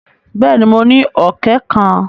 Bẹ́ẹ̀ ni, mo ní ọ̀kẹ́ kan.